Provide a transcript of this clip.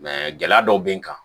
gɛlɛya dɔw bɛ n kan